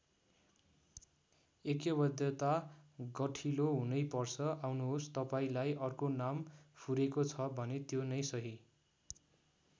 ऐक्यबद्धता गठिलो हुनै पर्छ आउनुहोस् तपाईँंलाई अर्को नाम फुरेको छ भने त्यो नै सही।